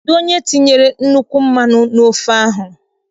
Kedụ onye tinyere nnukwu mmanụ n' ofe ahụ?